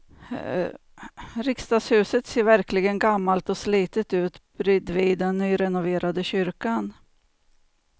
Riksdagshuset ser verkligen gammalt och slitet ut bredvid den nyrenoverade kyrkan.